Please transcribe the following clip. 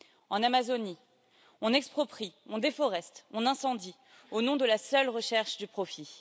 En Amazonie, on exproprie, on déforeste, on incendie au nom de la seule recherche du profit.